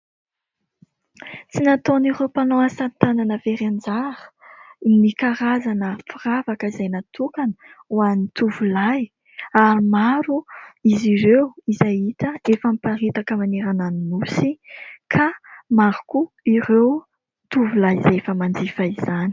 Tsy nataon'ireo mpanao asa tanana very anjara ny karazana firavaka izay natokana hoan'ny tovolahy, ary maro izy ireo izay hita efa miparitaka manerana ny nosy, ka maro koa ireo tovolahy izay efa manjifa izany.